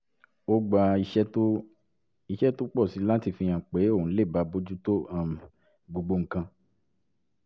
ó gba iṣẹ́ tó iṣẹ́ tó pọ̀ sí i láti fihàn pé òun lè dá bójú tó um gbogbo nǹkan